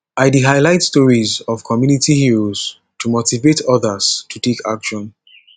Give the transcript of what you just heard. i dey highlight stories of community heroes to motivate odas to take action